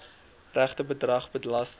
regte bedrag belasting